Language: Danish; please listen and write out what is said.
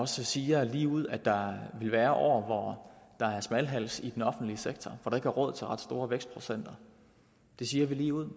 så siger vi lige ud at der vil være år hvor der er smalhals i den offentlige sektor hvor der er råd til ret store vækstprocenter det siger vi lige ud